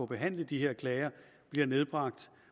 behandle de her klager bliver nedbragt